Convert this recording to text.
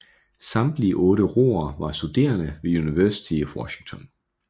Samtlige otte roere var studerende ved University of Washington